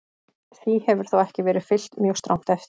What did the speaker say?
Því hefur þó ekki verið fylgt mjög strangt eftir.